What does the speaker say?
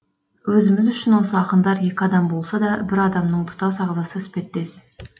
өзіміз үшін осы ақындар екі адам болса да бір адамның тұтас ағзасы іспеттес